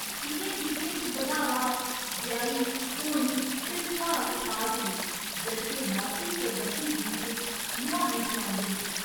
इ'नें गीतें च बधावा, बेहाई, घोड़ी ते सुहाग खास न, जद् के मौती सरबंधी गीत 'लुहानी' खुआंदे न।